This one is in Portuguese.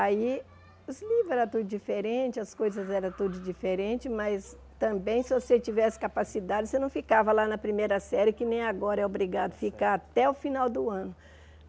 Aí, os livros era tudo diferente, as coisas eram todas diferentes, mas também, se você tivesse capacidade, você não ficava lá na primeira série, que nem agora é obrigado a ficar até o final do ano.